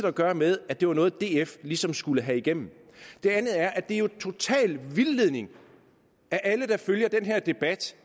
at gøre med at det var noget df ligesom skulle have igennem det andet er at det jo er en total vildledning af alle der følger den her debat